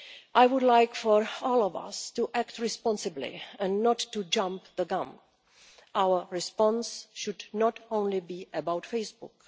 I would like for all of us to act responsibly and not to jump the gun. Our response should not only be about Facebook.